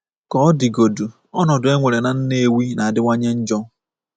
Ka ọ dịgodị, ọnọdụ e nwere na Nnewi na-adịwanye njọ.